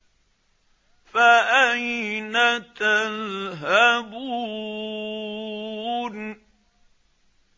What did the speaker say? فَأَيْنَ تَذْهَبُونَ